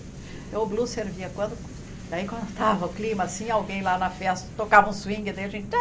Então o blue servia quando daí estava o clima assim, alguém lá na festa tocava um swing, daí a gente...